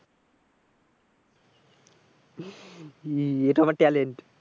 এটা আমার talent,